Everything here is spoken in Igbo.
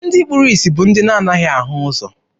Ndị kpuru isi bụ ndị na-anaghị ahụ ụzọ.